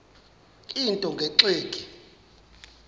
into nge tsheki